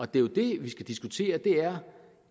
det er jo det vi skal diskutere